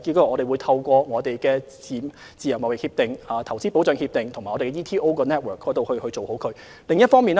我們會透過簽訂自貿協定及投資協定，以及香港經貿辦的網絡做好這方面的工作。